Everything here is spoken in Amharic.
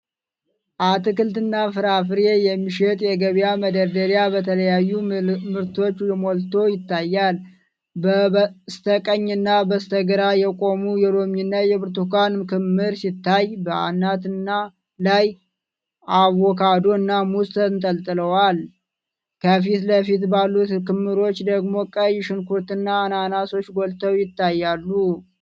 አትክልትና ፍራፍሬ የሚሸጥ የገበያ መደርደሪያ በተለያዩ ምርቶች ሞልቶ ይታያል። በስተቀኝና በስተግራ የቆሙ የሎሚና የብርቱካን ክምር ሲታይ፣ በአናት ላይ አቮካዶና ሙዝ ተንጠልጥሏል። ከፊት ለፊት ባሉት ክምሮች ደግሞ ቀይ ሽንኩርትና አናናሶች ጎልተው ይታያሉ።